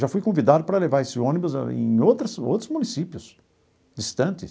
Já fui convidado para levar esse ônibus em outras outros municípios distantes.